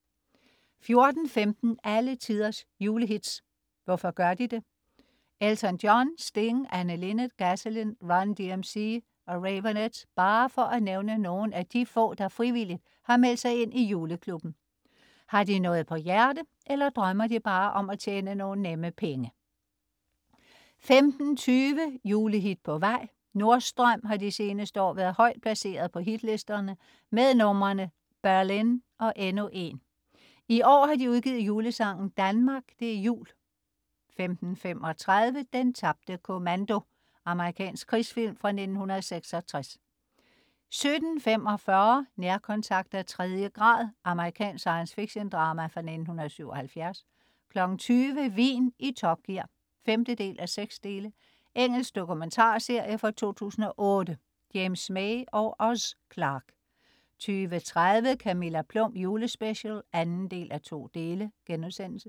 14.15 Alle tiders julehits. Hvorfor gør de det? Elton John, Sting, Anne Linnet, Gasolin, Run DMC og Raveonettes bare for at nævne nogle af de få, der frivilligt har meldt sig ind i juleklubben. Har de noget på hjerte, eller drømmer de bare om at tjene nogle nemme penge? 15.20 Julehit på vej? Nordstrøm har de seneste år været højt placeret på hitlisterne med numrene "Berlin" og "Endnu en". I år har de udgivet julesangen "Danmark. Det er Jul" 15.35 Den tabte kommando. Amerikansk krigsfilm fra 1966 17.45 Nærkontakt af tredje grad. Amerikansk science fiction-drama fra 1977 20.00 Vin i Top Gear 5:6. Engelsk dokumentarserie fra 2008. James May og Oz Clarke 20.30 Camilla Plum julespecial 2:2*